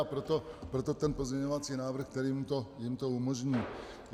A proto ten pozměňovací návrh, který jim to umožní.